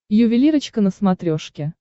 ювелирочка на смотрешке